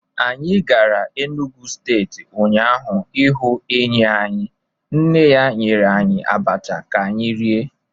Anyị gara Enugwu steeti ụnyaahụ ịhụ enyi anyị, nne ya nyere anyị abacha ka anyị rie.